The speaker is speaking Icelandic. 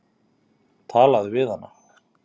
Talaðu við hana.